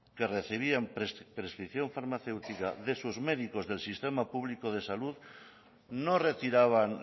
que recibían prescripción farmacéutica de sus médicos del sistema público de salud no retiraban